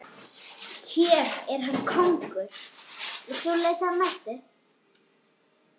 Hér er hann kóngur.